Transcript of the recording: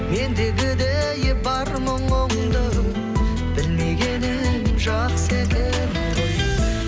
ендігідей бар мұңыңды білмегенім жақсы екен ғой